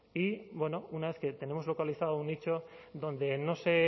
y una vez que tenemos localizado un nicho donde no se